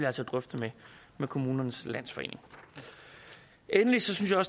altså drøfte med kommunernes landsforening endelig synes jeg